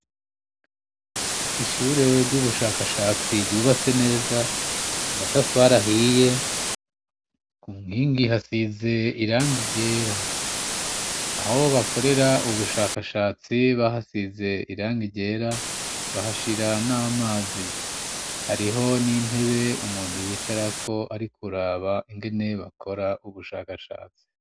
Ishure ry'ubushakashatsi ryubatse neza, amatafarahiye, ku mwingi hasize iranga iryera aho bakorera ubushakashatsi bahasize irangiryera bahashira n'amazi, hariho n'intebe umu muntu yicarako ariko uraba ingene bakora ubushakashatse.